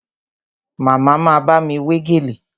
Màmá ma bámi wé gèlè